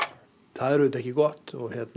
það er auðvitað ekki gott